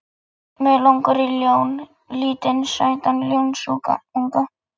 Mig langar í ljón, lítinn sætan ljónsunga.